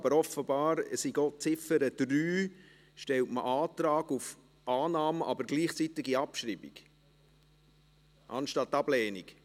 Aber offenbar stellt man bei Ziffer 3 Antrag auf Annahme und gleichzeitige Abschreibung anstelle von Ablehnung.